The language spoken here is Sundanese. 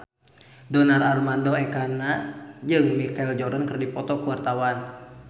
Donar Armando Ekana jeung Michael Jordan keur dipoto ku wartawan